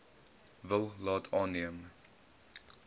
wil laat aanneem